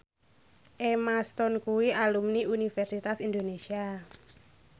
Emma Stone kuwi alumni Universitas Indonesia